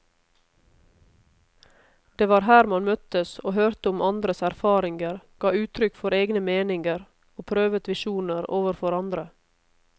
Det var her man møttes og hørte om andres erfaringer, ga uttrykk for egne meninger og prøvet visjoner overfor andre.